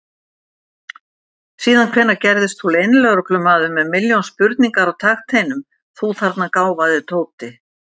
Síðan hvenær gerðist þú leynilögreglumaður með milljón spurningar á takteinum, þú þarna gáfaði Tóti!